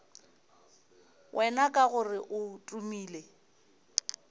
wena ka gore o tumile